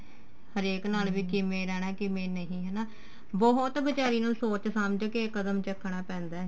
ਹਰੇਕ ਨਾਲ ਕਿਵੇ ਰਹਿਣਾ ਕਿਵੇ ਨਹੀਂ ਹਨਾ ਬਹੁਤ ਬੀਚਾਰੀ ਨੂੰ ਸੋਚ ਸਮਝ ਕੇ ਕਦਮ ਚੱਕਣਾ ਪੈਂਦਾ